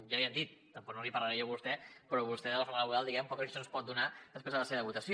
ja l’hi han dit tampoc no n’hi parlaré jo a vostè però vostè de la reforma laboral diguem ne poques lliçons pot donar després de la seva votació